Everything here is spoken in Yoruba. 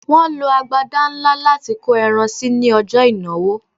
Wọ́n lo agbada ńlá láti kó ẹran sí ní ọjọ́ ìnáwó